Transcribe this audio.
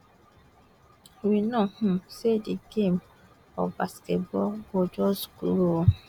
we know um say di game of basketball go just grow